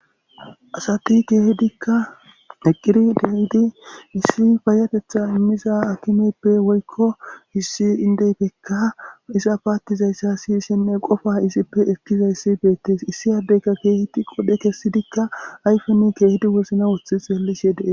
asati keehidikka giqidi deyidi issi fayatetha immiza akimeppe woykko hissi indeyfekka iza paattizayssa siyshenne qofa isippe ekkizayssi beettes issi addeyka keehedi qodhe kessidikka ayfeni keehidi wozna wothi xeellishe dees.